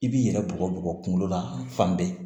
I b'i yɛrɛ bugɔ bugɔ kunkolo la fan bɛɛ